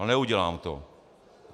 Ale neudělám to.